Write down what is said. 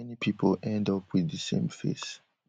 many pipo end up wit di same face